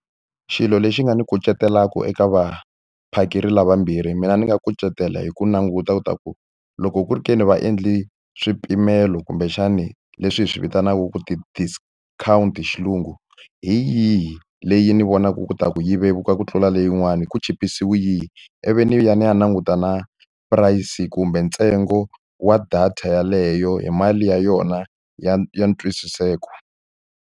Xilo lexi nga ni kucetelaka eka vaphakeri lavambirhi, mina ni nga kucetela hi ku languta leswaku loko ku ri ke ni va endle swipimelo kumbexani leswi hi swi vitanaka ku ti-discount hi xilungu, hi yihi leyi ni vonaka leswaku yi vevuka ku tlula leyin'wana, ku chipisiwe yihi, ivi ni ya ni ya languta na price kumbe ntsengo wa data yeleyo hi mali ya yona ya ya ntwisiseko.